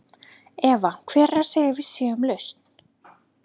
Eva: Hver er að segja að við séum lausn?